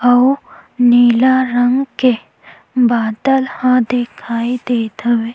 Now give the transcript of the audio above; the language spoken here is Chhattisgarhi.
आउ नीला रंग के बादल हा दिखाई देत हवे--